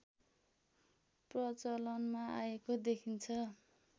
प्रचलनमा आएको देखिन्छ